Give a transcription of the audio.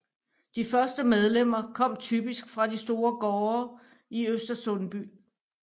De første medlemmer kom typisk fra de store gårde i Øster Sundby